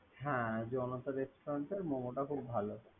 হ্যা জনতা রেস্টুরেন্টের মোমো টা খুব ভালো।